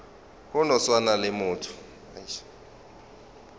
go no swana le motho